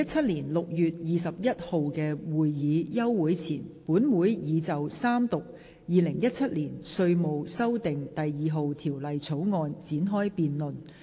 在2017年6月21日的會議休會前，本會已就三讀《2017年稅務條例草案》展開辯論。